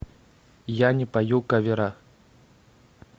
я не пою кавера